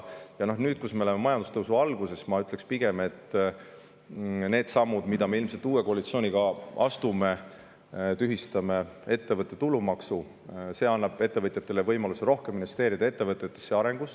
Ja nüüd, kui me oleme majandustõusu alguses, ma ütleksin pigem, et need sammud, mis me ilmselt uue koalitsiooniga astume – näiteks tühistame ettevõtte maksu –, annavad ettevõtjatele võimaluse rohkem investeerida ettevõtetesse ja nende arengusse.